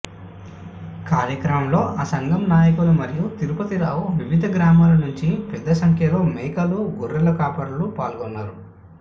కార్యక్రమంలో ఆ సంఘం నాయకులు మర్రి తిరుపతిరావు వివిధ గ్రామాల నుంచి పెద్ద సంఖ్యలో మేకల గొర్రెల కాపరులు పాల్గొన్నారు